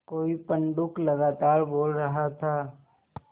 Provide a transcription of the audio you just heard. कोई पंडूक लगातार बोल रहा था